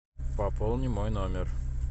пополни мой номер